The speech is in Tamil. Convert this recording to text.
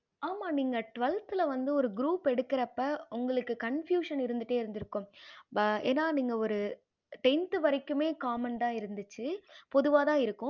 ஆமா நீங்க twelfth வந்து ஒரு group எடுக்கற அப்ப confusion இருந்துட்டே இருக்கும் ஏன நீங்க ஒரு tenth வரைக்குமே common தான் இருந்திச்சி பொதுவா தான் இருக்கும்